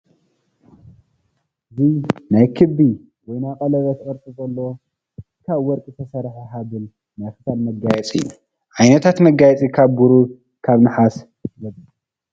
እዚ ናይ ክቢ ወይ ናይ ቀለቤት ቅርፂ ዘለዎ ካብ ወርቂ ዝተሰረሐ ሃበል ናይ ክሳድ መጋየፂ እዩ። ዓይነታት መጋየፂ ካብ ብሩር፣ ካብ ነሓስ፣ ወዘተ...